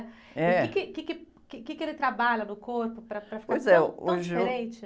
É. o quê que, quê que, quê que, quê que ele trabalha no corpo para, para ficar tão, tão diferente?ois é, hoje eu...